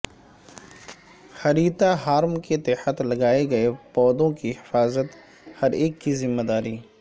ہریتا ہارم کے تحت لگائے گئے پودوں کی حفاظت ہر ایک کی ذمہ داری